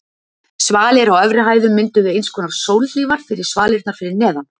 Svalir á efri hæðum mynduðu einskonar sólhlífar fyrir svalirnar fyrir neðan.